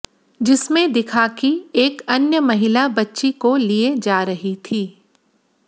जिसमें दिखा कि एक अन्य महिला बच्ची को लिए जा रही थी